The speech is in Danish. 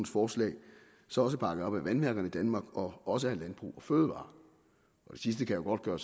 forslag så også bakket op af vandværker i danmark og også af landbrug fødevarer det sidste kan jo godt gøre